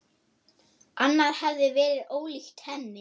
Annað hefði verið ólíkt henni.